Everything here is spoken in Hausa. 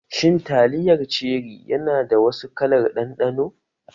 Shin taliyar Cherri yana da wasu kalar ɗanɗano?